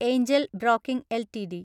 Angel Broking LTD